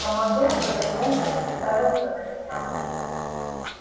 командор повернулся и уставился на меня